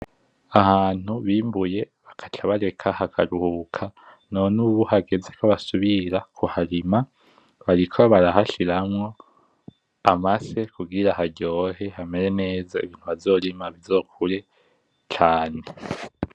Ahantu bimbuye bagaca bareka hakaruhuka none ubu hageze ko basubira kuharima, barahashiramwo amase kugira haryohe hamere neza ibintu bazorima bizokure cane.